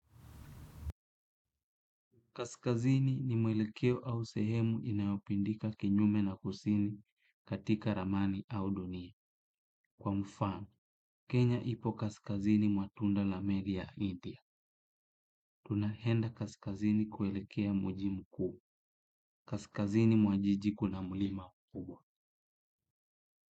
Kaskazini ni mwelekeo au sehemu inayopindika kinyume na kusini katika ramani au dunia. Kwa mfano, Kenya ipo kaskazini mwa tunda la meli ya India. Tunaenda kaskazini kuelekea mji mkuu. Kaskazini mwa jiji kuna mlima kubwa.